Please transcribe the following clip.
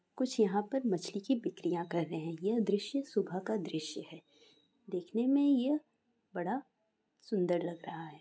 कुछ यहां पर मछली की बिक्रिया कर रहे है ये दृश्य सुबह का दृश्य है देखने मे यह बड़ा सुन्दर लग रहा है।